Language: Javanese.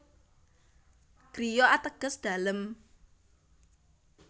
Griya ateges dalem